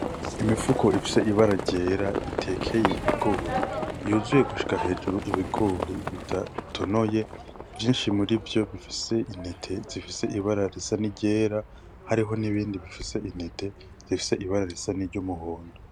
Imifuko ifise ibara ryera itekeye ibigori yuzuye gushika hejuru ibigori bidatonoye vyinshi murivyo bifise intete zifise ibara risa n'iryera hariho n' ibindi bifise intete zifise ibara risa n' iryumuhondo.